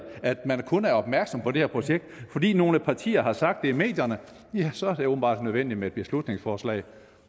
at man kun er opmærksom på det her projekt fordi nogle partier har sagt det i medierne ja så er det åbenbart nødvendigt med et beslutningsforslag